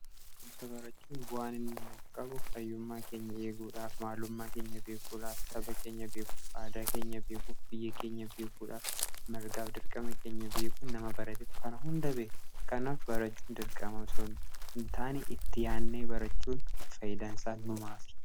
Barumsa barachuun bu'aan inni nuuf qabu; fayyummaa keenya eeguudhaaf, maalummaa keenya beekuudhaaf, saba keenya beekuuf, aadaa keenya beekuuf, biyya keenya beekuudhaaf, mirgaaf dirqama keenya beekuuf, nama baratetu kana hunda beeka. kanaaf barachuu dirqama osoo hin taanee itti yaadnee barachuun faayidaansaa numaaf.